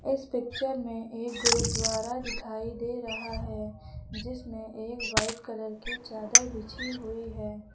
इस पिक्चर में एक गुरुद्वारा दिखाई दे रहा है जिसमें एक व्हाइट कलर की चादर बिछी हुई है।